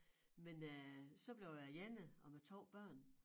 Men øh så blev jeg alene og med 2 børn